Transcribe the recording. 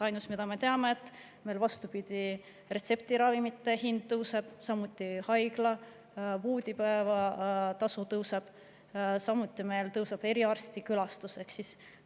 Ainus, mida me teame, on see, et meil, vastupidi, retseptiravimite hind tõuseb, haigla voodipäevatasu tõuseb, samuti tõuseb eriarstikülastuse.